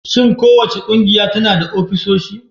Shin kowace ƙungiya tana da ofisoshi?